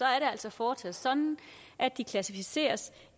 altså fortsat sådan at de klassificeres